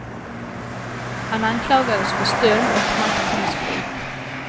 Han anklagades för stöld och maktmissbruk.